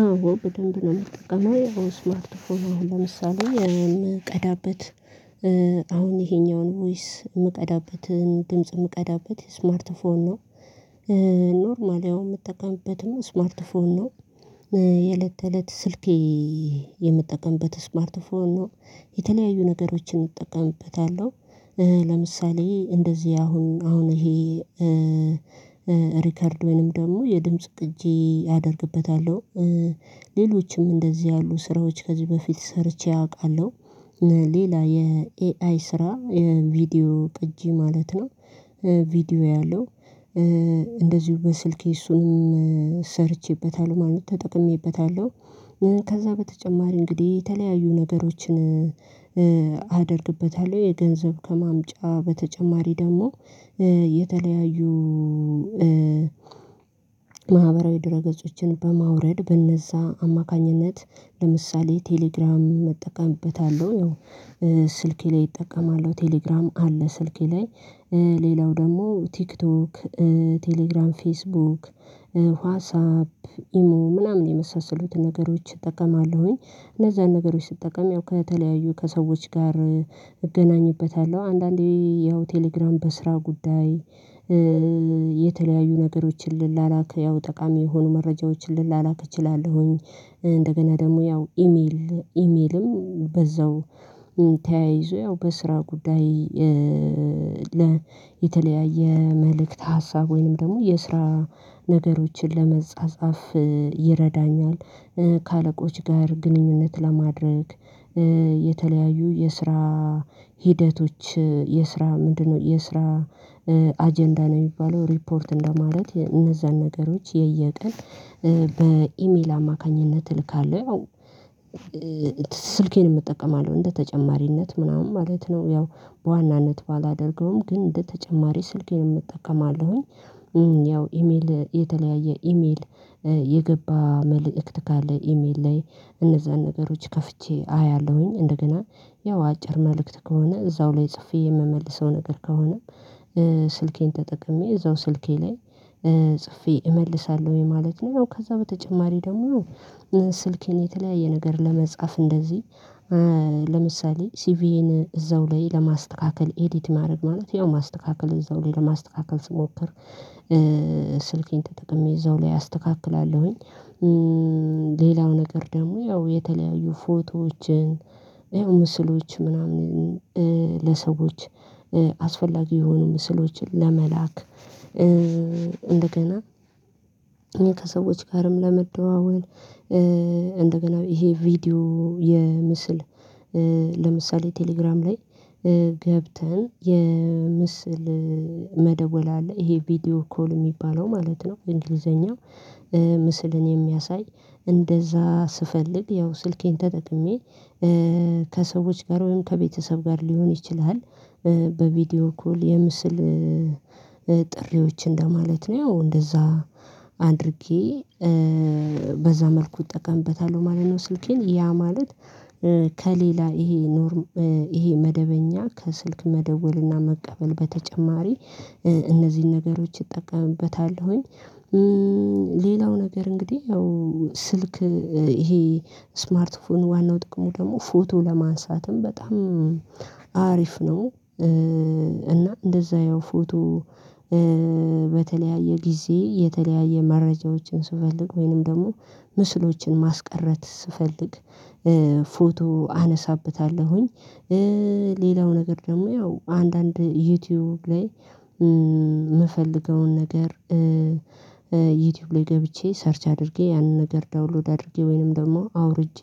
አዎ በደንብ ነው የምጠቀመው አሁን ስማርት ፎን ለምሳሌ የምቀዳበት አሁን ይሄኛውን ቮይስ የምቀዳበትን ድምጽ የምቀዳበት ስማርት ፎን ነው። ኖርማሊ አሁን የምጠቀምበትም ስማርት ፎን ነው። የለት ተለት ስልኬ የምጠቀምበት ስማርት ፎን ነው። የተለያዩ ነገሮችን እጠቀምበታለሁ። ለምሳሌ እንደዚህ አሁን አሁን ይሄ እ ሪከርድ ወይንም ደግሞ የድምጽ ቅጂ አደርግበታለሁ። ሌሎችም እንደዚህ ያሉ ስራዎች ከዚህ በፊት ሰርቼ አውቃለሁ። ሌላ የኤአይ ስራ የቪዲዮ ቅጂ ማለት ነው። ቪዲዮ ያለው እንደዚሁ በስልኬ እሱንም ሰርቼበታለሁ ማለት ተጠቅሜበታለሁ። ከዛ በተጨማሪ እንግዲህ የተለያዩ ነገሮችን አደርግበታለሁ የገንዘብ ከማምጫ በተጨማሪ ደግሞ የተለያዩ ማህበራዊ ድረ ገጾችን በማውረድ በእነዛ አማካኝነት ለምሳሌ ቴሌግራም እጠቀምበታለሁ። ስልኬ ላይ እጠቀማለሁ ቴሌግራም አለ ስልኬ ላይ እ ሌላው ደግሞ ቲክቶክ እ ቴሌግራም ፌስቡክ ዋትሳፕ ኢሞ ምናምን የመሳሰሉትን ነገሮች እጠቀማለሁ። እነዚያን ነገሮች ስትጠቀም ያው ከተለያዩ ከሰዎች ጋር እገናኝበታለሁ አንዳንዴ ያው ቴሌግራም በስራ ጉዳይ እ የተለያዩ ነገሮችን ልላላክ ያው ጠቃሚ የሆኑ መረጃዎችን ልላላክ እችላለሁኝ። እንደገና ደግሞ ያው ኢሜል ኢሜልም በዛው ተያይዞ ያው በስራ ጉዳይ የተለያየ መልእክት ሀሳብ ወይንም ደግሞ የስራ ነገሮችን ለመጻጻፍ ይረዳኛል። ከአለቆች ጋር ግንኙነት ለማድረግ እ የተለያዩ የስራ ሂደቶች የስራ ምንድነው የስራ አጀንዳ ነው የሚባለው ሪፖርት እንደማለት እነዛን ነገሮች የየቀን እ በኢሜል አማካኝነት እልካለሁ። ስልኬንም እጠቀማለሁ እንደ ተጨማሪነት ምናምን ማለት ነው። ያው በዋናነት ባላደርገውም ግን እንደ ተጨማሪ ስልኬንም እጠቀማለሁኝ። እ ያው ኢሜል የተለያየ ኢሜል የገባ መልእክት ካለ ኢሜል ላይ እነዛን ነገሮች ከፍቼ አያለሁኝ። እንደገና ያው አጭር መልእክት ከሆነ እዛው ላይ ጽፌ የምመልሰው ነገር ከሆነ እ ስልኬን ተጠቅሜ እዛው ስልኬ ላይ እ ጽፌ እመልሳለሁኝ ማለት ነው። ከዛ በተጨማሪ ደግሞ ስልኬን የተለያየ ነገር ለመጻፍ እንደዚህ እ ለምሳሌ ሲቪዬን እዛው ላይ ለማስተካከል ኤዲት ማድረግ ማለት ያው ማስተካከል እዛው ላይ ለማስተካከል ስሞክር ስልኬን ተጠቅሜ እዛው ላይ አስተካክላለሁኝ። እ ሌላው ነገር ደግሞ ያው የተለያዩ ፎቶዎችን ይሄው ምስሎች ምናምን እ ለሰዎች አስፈላጊ የሆኑ ምስሎችን ለመላክ እንደገና። እኔ ከሰዎች ጋርም ለመደዋወል እንደገና ይሄ ቪዲዮ የምስል ለምሳሌ ቴሌግራም ላይ እ ገብተን የምስል መደወል አለ ይሄ ቪዲዮ ኮል የሚባለው ማለት ነው እንግሊዘኛው እ ምስልን የሚያሳይ እንደዛ ስፈልግ ያው ስልኬን ተጠቅሜ ከሰዎች ጋር ወይም ከቤተሰብ ጋር ሊሆን ይችላል በቪዲዮ ኮል የምስል ጥሪዎች እንደማለት ነው ያው እንደዛ አድርጌ እ በዛ መልኩ እጠቀምበታለው ማለት ነው። ስልኬን ያ ማለት ከሌላ ይሄ ኖርም ይሄ መደበኛ ከስልክ መደወልና መቀበል በተጨማሪ እነዚህን ነገሮች እጠቀምበታለሁኝ። ሌላው ነገር እንግዲህ ያው ስልክ ይሄ ስማርት ፎን ዋናው ጥቅሙ ደግሞ ፎቶ ለማንሳትም በጣም አሪፍ ነው። እና እንደዛ ያው ፎቶ በተለያየ ጊዜ የተለያየ መረጃዎችን ስፈልግ ወይንም ደግሞ ምስሎችን ማስቀረት ስፈልግ ፎቶ አነሳበታለሁኝ። ሌላው ነገር ደግሞ ያው አንዳንድ ዩቲዩብ ላይ የምፈልገውን ነገር ዩቲዩብ ላይ ገብቼ ሰርች አድርጌ ያንን ነገር ዳውንሎድ አድርጌ ወይንም ደግሞ አውርጄ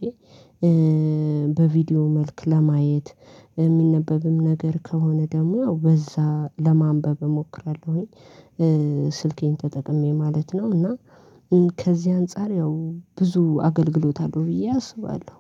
በቪዲዮ መልክ ለማየት የሚነበብም ነገር ከሆነ ደግሞ ያው በዛ ለማንበብ እሞክራለሁኝ። ስልኬን ተጠቅሜ ማለት ነው እና ከዚህ አንፃር ያው ብዙ አገልግሎት አለው ብዬ አስባለሁ።